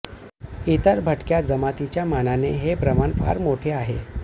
इतर भटक्या जमातींच्या मानाने हे प्रमाण फार मोठे आहे